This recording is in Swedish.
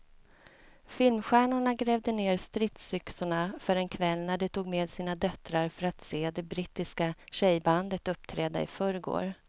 Filmstjärnorna grävde ned stridsyxorna för en kväll när de tog med sina döttrar för att se det brittiska tjejbandet uppträda i förrgår.